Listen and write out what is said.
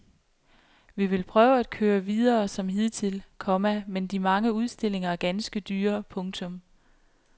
Vi vil prøve at køre videre som hidtil, komma men de mange udstillinger er ganske dyre. punktum